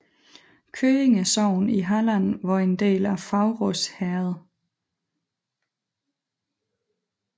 Køinge sogn i Halland var en del af Faurås herred